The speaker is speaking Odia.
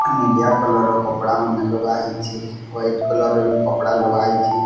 ଆ ନିଲିଆ କଲର ର କପଡା ମାନେ ଲଗା ହେଇଚି ୱାଇଟ କଲର ର ବି କପଡା ଲଗା ହେଇଚି।